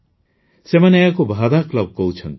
ସେମାନେ ଏହାକୁ ଭାଦା କ୍ଲବ୍ କହୁଛନ୍ତି